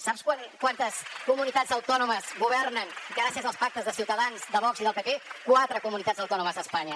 sap quantes comunitats autònomes governen gràcies als pactes de ciutadans de vox i del pp quatre comunitats autònomes d’espanya